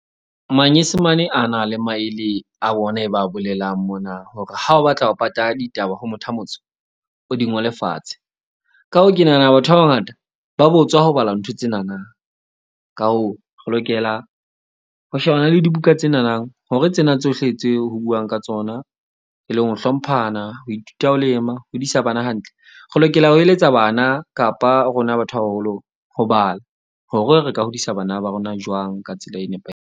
Manyesemane a na le maele a wona e ba bolelang mona. Hore ha o batla ho pata ditaba ho motho a motsho, o di ngole fatshe. Ka hoo, ke nahana batho ba bangata ba botswa ho bala ntho tsenana. Ka hoo, re lokela ho shebana le dibuka tsenana hore tsena tsohle tse ho buang ka tsona e leng ho hlomphana, ho ithuta ho lema, ho hodisa bana hantle. Re lokela ho eletsa bana kapa rona batho ba baholo ho bala hore re ka hodisa bana ba rona jwang ka tsela e .